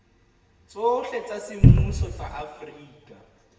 tsohle tsa semmuso tsa afrika